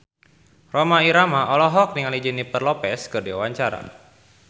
Rhoma Irama olohok ningali Jennifer Lopez keur diwawancara